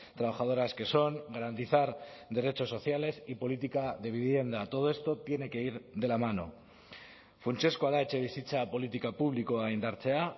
trabajadoras que son garantizar derechos sociales y política de vivienda todo esto tiene que ir de la mano funtsezkoa da etxebizitza politika publikoa indartzea